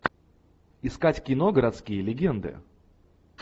искать кино городские легенды